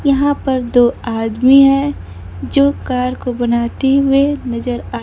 यहां पर दो आदमी है जो कार को बनाते हुए नजर आ--